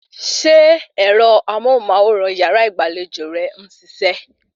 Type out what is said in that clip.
Ṣe ẹ̀rọ amóhùnmáwòrán yàrá ìgbàlejò rẹ ń ṣiṣẹ́?